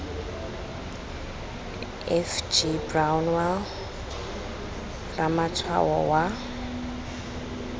f g brownell ramatshwao wa